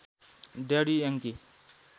daddy Yangki